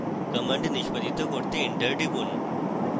command নিষ্পাদিত করতে enter টিপুন